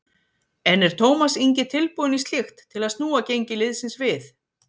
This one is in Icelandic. En er Tómas Ingi tilbúinn í slíkt til að snúa gengi liðsins við?